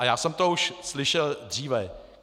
A já jsem to už slyšel dříve.